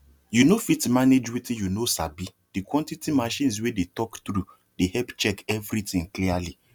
you no fit manage wetin you know sabi the quantity machines wey dey talk true dey help check everything clearly